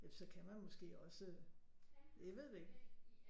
Så kan man måske også jeg ved det ikke